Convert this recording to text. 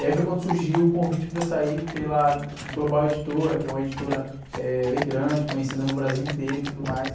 E aí foi quando surgiu o convite para eu sair pela Global Editora, que é uma editora, eh, bem grande, conhecida no Brasil inteiro e tudo mais.